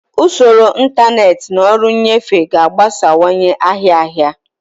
Usoro ntanetị na ọrụ nnyefe ga-agbasawanye ahịa ahịa.